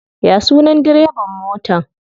Ya sunan direban motan?